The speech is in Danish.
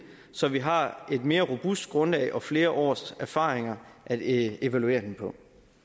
så vi har et mere robust grundlag og flere års erfaringer at evaluere den på